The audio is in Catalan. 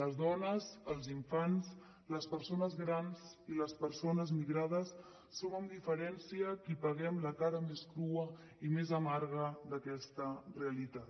les dones els infants les persones grans i les persones migrades som amb diferència qui paguem la cara més crua i més amarga d’aquesta realitat